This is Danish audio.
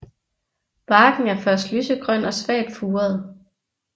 Barken er først lysegrøn og svagt furet